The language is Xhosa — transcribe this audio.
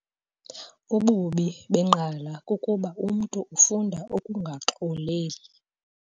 Ububi benqala kukuba umntu ufunda ukungaxoleli.